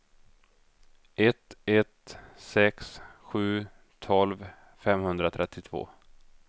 ett ett sex sju tolv femhundratrettiotvå